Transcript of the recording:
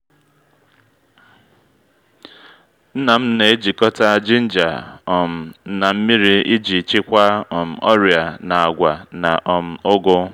nna m na-ejikọta jinja um na nmiri iji chịkwaa um ọrịa na’agwa na um ugu